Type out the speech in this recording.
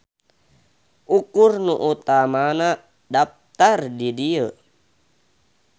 Ukur nu utamana daptar di dieu.